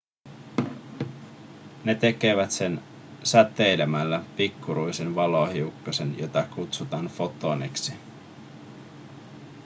ne tekevät sen säteilemällä pikkuruisen valohiukkasen jota kutsutaan fotoniksi